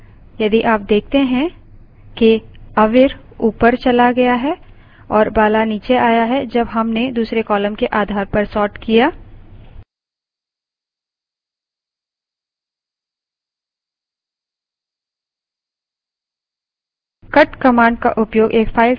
यह original file है यदि आप देखते हैं कि avir ऊपर bala गया और bala नीचे आ गया है जब हमने दूसरे column के आधार पर sorted किया